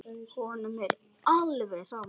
Honum er alveg sama.